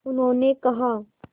उन्होंने कहा